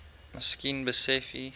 miskien besef u